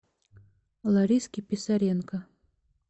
лариске писаренко